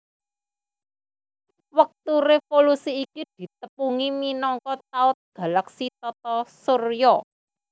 Wektu révolusi iki ditepungi minangka taun galaksi Tata Surya